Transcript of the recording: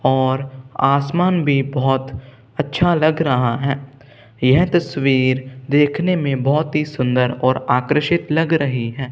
और आसमान भी बहोत अच्छा लग रहा हैं यह तस्वीर देखने में बहोत ही सुंदर और आकृषित लग रही हैं।